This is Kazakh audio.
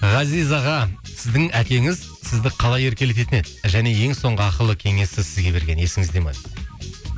ғазиз аға сіздің әкеңіз сізді қалай еркелететін еді және ең соңғы ақылы кеңесі сізге берген есіңізде ме дейді